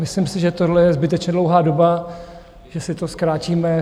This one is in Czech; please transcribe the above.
Myslím si, že tohle je zbytečně dlouhá doba, že si to zkrátíme.